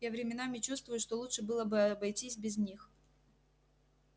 я временами чувствую что лучше было бы обойтись без них